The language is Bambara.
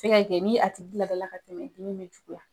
kɛ ni a tigi labɛnla ka tɛmɛ